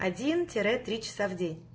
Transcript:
один тире три часа в день